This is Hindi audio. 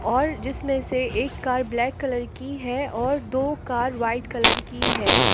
और जिसमें से एक कार ब्लैक कलर की है और दो कार वाइट कलर की है।